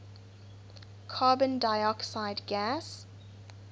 carbon dioxide gas